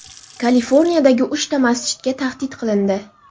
Kaliforniyadagi uchta masjidga tahdid qilindi.